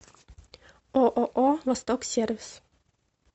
ооо восток сервис